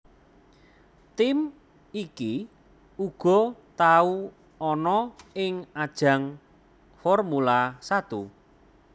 Tim iki uga tau ana ing ajang Formula Satu